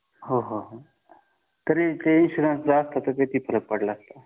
हो हो तरी ते इन्शुरन्स असतं तर किती फरक पडला असता